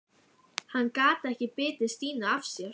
Hann gat ekki bitið Stínu af sér.